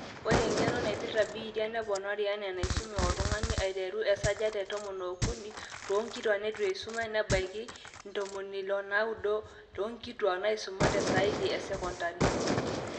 ore eng'eno naipirta biitia neponari enaa enaisume oltung'ani aiteru te 13% toonkituuak neitu eisuma nebaiki 69% toonkituaak naaisumate saidi esecondari